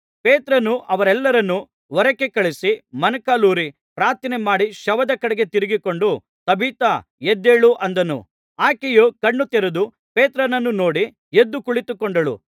ಪೇತ್ರನು ಅವರೆಲ್ಲರನ್ನು ಹೊರಕ್ಕೆ ಕಳುಹಿಸಿ ಮೊಣಕಾಲೂರಿ ಪ್ರಾರ್ಥನೆಮಾಡಿ ಶವದ ಕಡೆಗೆ ತಿರುಗಿಕೊಂಡು ತಬಿಥಾ ಎದ್ದೇಳು ಅಂದನು ಆಕೆಯು ಕಣ್ಣು ತೆರೆದು ಪೇತ್ರನನ್ನು ನೋಡಿ ಎದ್ದು ಕುಳಿತುಕೊಂಡಳು